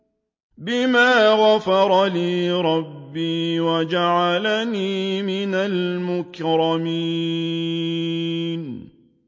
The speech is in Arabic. بِمَا غَفَرَ لِي رَبِّي وَجَعَلَنِي مِنَ الْمُكْرَمِينَ